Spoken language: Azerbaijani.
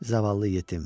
Zavallı yetim.